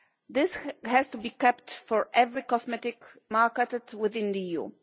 This has to be kept for every cosmetic marketed within the EU.